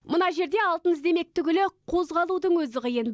мына жерде алтын іздемек түгілі қозғалудың өзі қиын